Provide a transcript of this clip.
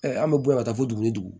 an bɛ bɔ yan ka taa fo dugu ni dugu